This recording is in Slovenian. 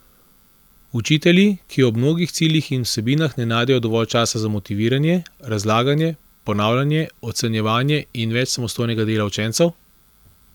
Učitelji, ki ob mnogih ciljih in vsebinah ne najdejo dovolj časa za motiviranje, razlaganje, ponavljanje, ocenjevanje in več samostojnega dela učencev?